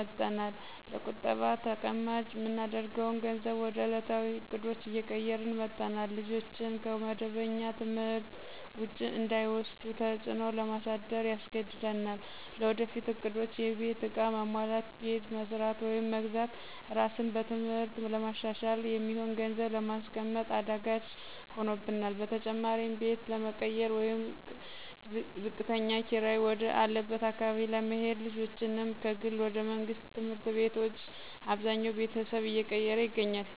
መጠናል፣ ለቁጠባ ተቀማጭ ምናደርገውን ገንዘብ ወደ እለታዊ እቅዶች እየቀየርን መጠናል፣ ልጆችን ከመደበኛ ትምህርት ውጪ እንዳይወስዱ ተጽዕኖ ለማሳደር ያስገድደናል። ለወደፊት እቅዶች(የቤት ዕቃ ማሟላት፣ ቤት መስራት ወይም መግዛት፣ ራስን በትምህርት ለማሻሻል) የሚሆን ገንዘብ ለማስቀመጥ አዳጋች ሆኖብናል። በተጨማሪም ቤት ለመቀየር ወይም ዝቅተኛ ኪራይ ወደ አለበት አካባቢ ለመሄድና ልጆችንም ከግል ወደ መንግስት ትምህርት ቤቶች አብዛኛው ቤተሰብ እየቀየረ ይገኛል።